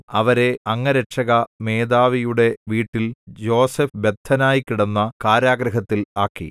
അവരെ അംഗരക്ഷക മേധാവിയുടെ വീട്ടിൽ യോസേഫ് ബദ്ധനായി കിടന്ന കാരാഗൃഹത്തിൽ ആക്കി